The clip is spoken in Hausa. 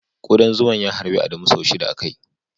Kudan zuman ya harbi Adamu sau shida a kai.